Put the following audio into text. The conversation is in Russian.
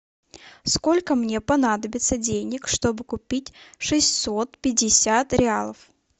сколько мне понадобится денег чтобы купить шестьсот пятьдесят реалов